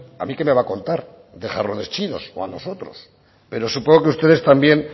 a mí que me va a contar de jarrones chinos o a nosotros pero supongo que ustedes también